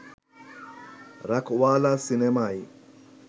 রাখওয়ালা সিনেমায়